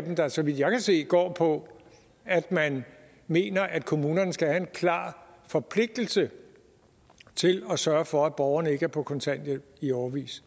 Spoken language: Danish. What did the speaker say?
der så vidt jeg kan se går på at man mener at kommunerne skal have en klar forpligtelse til at sørge for at borgerne ikke er på kontanthjælp i årevis